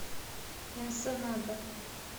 энсенада